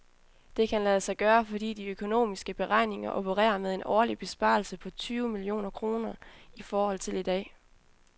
Det kan lade sig gøre, fordi de økonomiske beregninger opererer med en årlig besparelse på tyve millioner kroner i forhold til i dag.